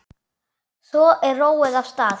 Svo er róið af stað.